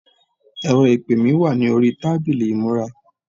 ẹrọ ìpè mi wà ní orí tábìlì ìmúra